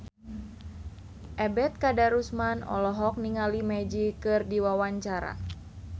Ebet Kadarusman olohok ningali Magic keur diwawancara